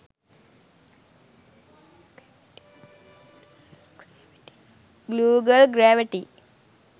google gravity